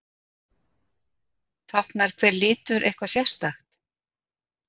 táknar hver litur eitthvað sérstakt